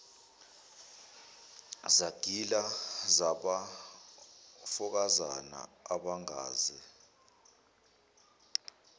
zagila zabafokazana abangaze